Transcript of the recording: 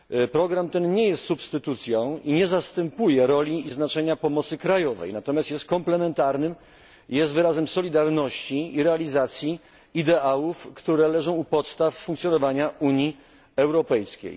Program ten nie jest substytucją i nie zastępuje roli i znaczenia pomocy krajowej. Jest on natomiast komplementarny, jest wyrazem solidarności i realizacji ideałów, które leżą u podstaw funkcjonowania Unii Europejskiej.